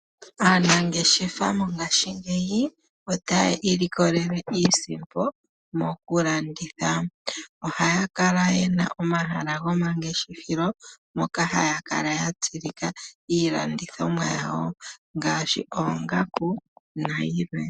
Aanangeshefa mongaashingeyi otaya ilikolele iisipo mokulanditha. Ohaya kala ye na omahala gomangeshefelo moka haya kala ya tsilika iilandithomwa yawo ngaashi oongaku nayilwe.